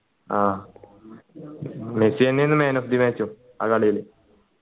ആഹ് Messi എന്നെ ആണ് man of the match ഉം ആ കളീൽ